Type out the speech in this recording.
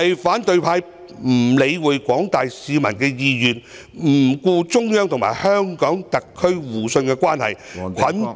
反對派不理會廣大市民的意願，不顧中央和香港特區互信的關係，捆綁......